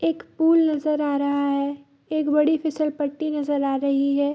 एक पूल नजर आ रहा है एक बड़ी फिसल पट्टी नजर आ रही है।